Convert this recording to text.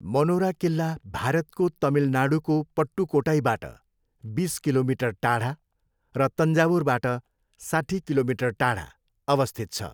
Monera किल्ला भारतको तमिलनाडूको पट्टुक्कोट्टईबाट बिस किलोमिटर टाढा र तन्जावुरबाट साट्ठी किलोमिटर टाढा अवस्थित छ।